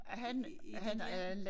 I dit hjem